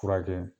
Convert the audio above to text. Furakɛ